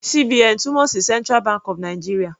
CBN túmọ̀ sí central bank of Nigeria.